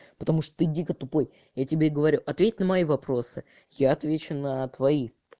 потому что ты дико тупой я тебе говорю ответь на мои вопросы я отвечу на твои